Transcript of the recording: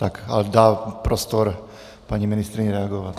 Tak dá prostor paní ministryni reagovat.